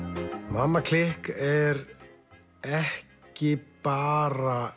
mamma klikk er ekki bara